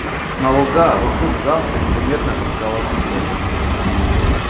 на луга вокруг замка незаметно подкралось лето